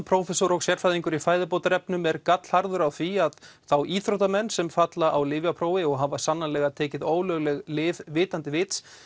prófessor og sérfræðingur í fæðubótarefnum er gallharður á því að þá íþróttamenn sem falla á lyfjaprófi og hafa sannanlega tekið ólögleg lyf vitandi vits